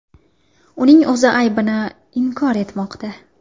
Uning o‘zi aybini inkor etmoqda.